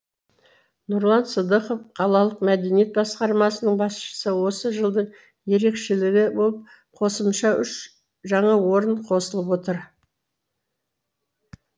нұрлан сыдықов қалалық мәдениет басқармасының басшысы осы жылдың ерекшелігі болып қосымша үш жаңа орын қосылып отыр